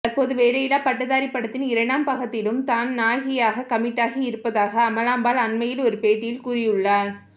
தற்போது வேலையில்லா பட்டதாரி படத்தின் இரண்டாம் பாகத்திலும் தான் நாயகியாக கமிட்டாகி இருப்பதாக அமலாபால் அண்மையில் ஒரு பேட்டியில் கூறியுள்ளார்